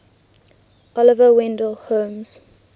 oliver wendell holmes